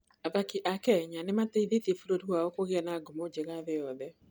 Athaki a Kenya nĩ mateithĩtie bũrũri wao kũgĩa na ngumo njega thĩ yothe.